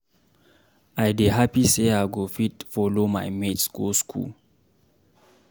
I dey happy say I go fit follow my mates go school.